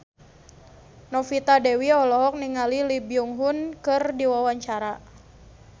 Novita Dewi olohok ningali Lee Byung Hun keur diwawancara